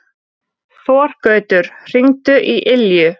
Þorgautur, hringdu í Ylju.